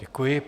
Děkuji.